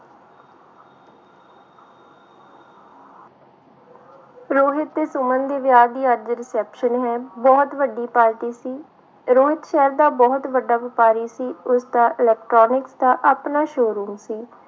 ਰੋਹਿਤ ਤੇ ਸੁਮਨ ਦੇ ਵਿਆਹ ਦੀ ਅੱਜ reception ਹੈ, ਬਹੁਤ ਵੱਡੀ ਪਾਰਟੀ ਸੀ ਰੋਹਿਤ ਸ਼ਹਿਰ ਦਾ ਬਹੁਤ ਵੱਡਾ ਵਾਪਾਰੀ ਸੀ ਉਸਦਾ electronic ਦਾ ਆਪਣਾ show-room ਸੀ।